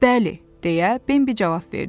Bəli, deyə Bambi cavab verdi.